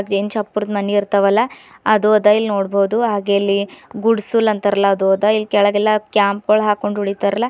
N ಚಪ್ಪರ್ದ್ ಮನಿ ಇರ್ತಾವಲ್ಲ ಅದು ಅದ ಇಲ್ ನೋಡ್ಬೋದು ಹಾಗೇ ಇಲ್ಲಿ ಗುಡ್ಸುಲ್ ಅಂತಾರಲ್ಲ ಅದು ಅದ ಇಲ್ ಕೆಳಗೆಲ್ಲ ಕ್ಯಾಂಪ್ ಗೊಳ್ ಹಾಕೊಂಡ್ ಉಳಿತಾರಲ್ಲ--